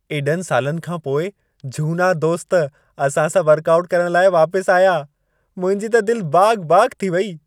एॾनि सालनि खां पोइ झूना दोस्त असां सां वर्कआउट करणु लाइ वापसि आया। मुंहिंजी त दिलि बाग़-बाग़ थी वेई।